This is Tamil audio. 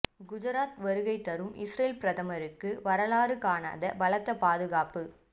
குஜராத் வருகை தரும் இஸ்ரேல் பிரதமருக்கு வரலாறு காணாத பலத்த பாதுகாப்பு